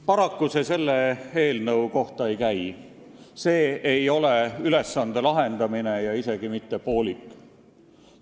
Paraku see selle eelnõu kohta ei käi, sest see ei ole ülesande lahendamine ja isegi mitte poolik lahendamine.